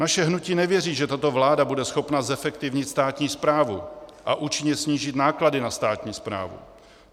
Naše hnutí nevěří, že tato vláda bude schopna zefektivnit státní správu a účinně snížit náklady na státní správu.